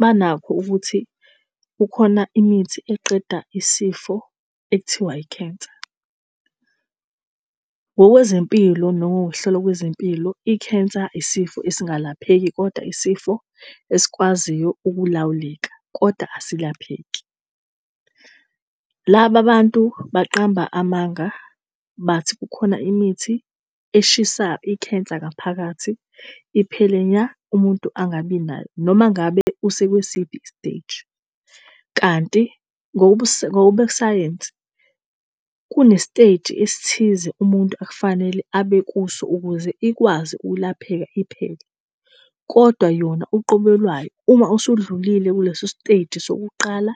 Banakho ukuthi kukhona imithi eqeda isifo ekuthiwa ikhensa. Ngokwezempilo nangokuhlelwa kwezempilo, ikhensa isifo esingalapheki, kodwa isifo esikwaziyo ukulawuleka, kodwa asilapheki. Laba bantu baqamba amanga bathi kukhona imithi eshisa ikhensa ngaphakathi iphele nya umuntu angabi nayo, noma ngabe usekwisiphi i-stage. Kanti ngokobusayensi, kune-stage esithize umuntu akufanele abe kuso ukuze ikwazi ukulapheka iphele kodwa yona uqobo lwayo, uma usudlulile kuleso stage sokuqala,